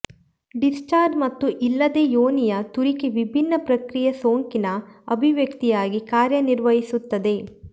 discharge ಮತ್ತು ಇಲ್ಲದೆ ಯೋನಿಯ ತುರಿಕೆ ವಿಭಿನ್ನ ಪ್ರಕೃತಿಯ ಸೋಂಕಿನ ಅಭಿವ್ಯಕ್ತಿಯಾಗಿ ಕಾರ್ಯನಿರ್ವಹಿಸುತ್ತದೆ